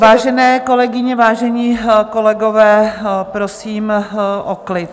Vážené kolegyně, vážení kolegové, prosím o klid.